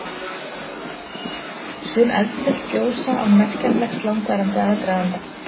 Sum eldfjöll gjósa án merkjanlegs langvarandi aðdraganda.